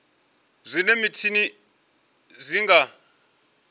zwa minwe mitshini zwi nga